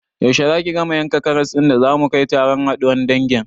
Yaushe zaki gama yankan karas ɗin da zamu kai taron haɗuwan dangin?